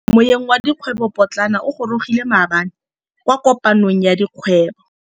Moêng wa dikgwêbô pôtlana o gorogile maabane kwa kopanong ya dikgwêbô.